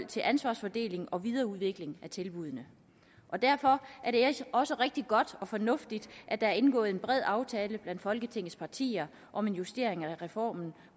til ansvarsfordeling og videreudvikling af tilbuddene derfor er det også rigtig godt og fornuftigt at der er indgået en bred aftale blandt folketingets partier om en justering af reformen